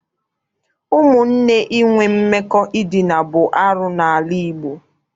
Ụmụnne inwe mmekọ edina bụ arụ n'ala Igbo.